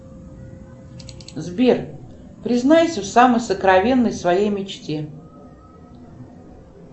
сбер признайся в самой сокровенной своей мечте